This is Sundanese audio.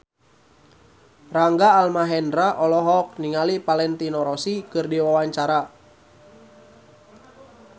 Rangga Almahendra olohok ningali Valentino Rossi keur diwawancara